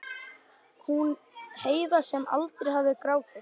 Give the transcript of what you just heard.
Hún Heiða sem aldrei hafði grátið.